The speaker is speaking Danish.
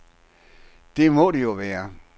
Det må det jo være.